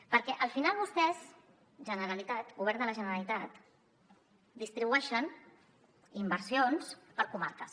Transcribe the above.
perquè al final vostès generalitat govern de la generalitat distribueixen inversions per comarques